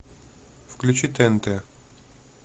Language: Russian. включи тнт